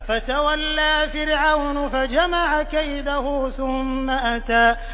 فَتَوَلَّىٰ فِرْعَوْنُ فَجَمَعَ كَيْدَهُ ثُمَّ أَتَىٰ